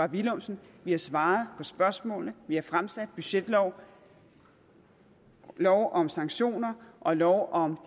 villumsen vi har svaret på spørgsmålene vi har fremsat forslag budgetlov lov om sanktioner og lov om